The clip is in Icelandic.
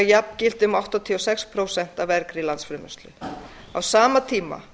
jafngildi um áttatíu og sex prósent af af á sama tíma